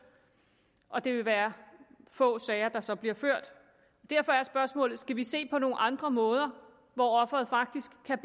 og det vil være få sager der så bliver ført derfor er spørgsmålet skal vi se på nogle andre måder hvor offeret faktisk kan